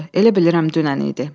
Elə bilirəm dünən idi.